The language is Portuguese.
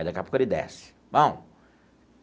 E daqui a pouco ele desce. Bom.